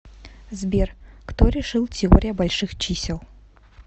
сбер кто решил теория больших чисел